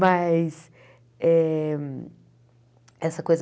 Mas, eh essa coisa...